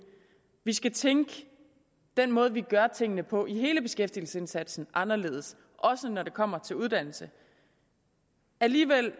vi skal tænke den måde vi gør tingene på i hele beskæftigelsesindsatsen anderledes også når det kommer til uddannelse alligevel